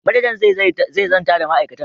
Manajan zai zanta da ma'aikatan.